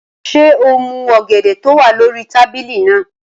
Ṣé o mú ọ̀gẹ̀dẹ̀ tó wà lórí tábìlì náà?